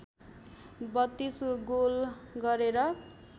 ३२ goal गरेर